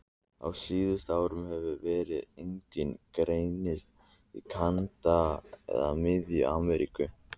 Á síðustu árum hefur veiran einnig greinst í Kanada og Mið-Ameríku.